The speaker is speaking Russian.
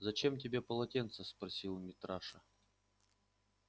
зачем тебе полотенце спросил митраша